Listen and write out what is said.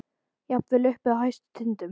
Jafnvel uppi á hæstu tindum.